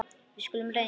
Við skulum reyna.